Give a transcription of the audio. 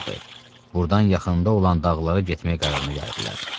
Burdan yaxında olan dağlara getməyə qərarına gəldilər.